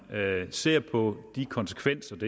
ser på konsekvenserne